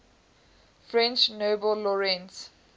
french nobel laureates